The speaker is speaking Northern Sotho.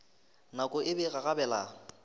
nako e be e gagabela